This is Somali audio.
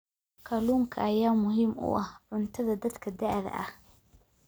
Kalluunka ayaa muhiim u ah cuntada dadka da'da ah.